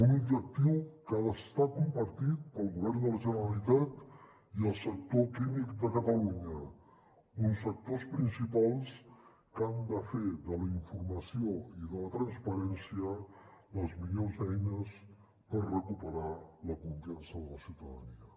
un objectiu que ha d’estar compartit pel govern de la generalitat i el sector químic de catalunya uns actors principals que han de fer de la informació i de la transparència les millors eines per recuperar la confiança de la ciutadania